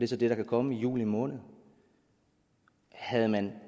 så det der kan komme i juli måned havde man